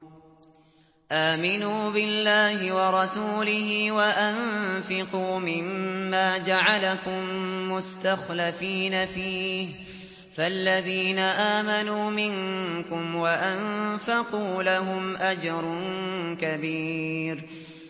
آمِنُوا بِاللَّهِ وَرَسُولِهِ وَأَنفِقُوا مِمَّا جَعَلَكُم مُّسْتَخْلَفِينَ فِيهِ ۖ فَالَّذِينَ آمَنُوا مِنكُمْ وَأَنفَقُوا لَهُمْ أَجْرٌ كَبِيرٌ